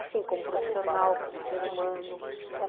Assim, como profissional, como ser humano.